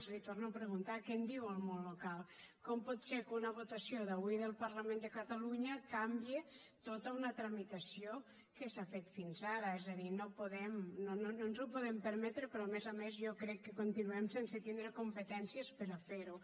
li ho torno a preguntar què en diu el món local com pot ser que una votació d’avui del parlament de catalunya canvie tota una tramitació que s’ha fet fins ara és a dir no ens ho podem permetre però a més a més jo crec que continuem sense tindre competències per a fer ho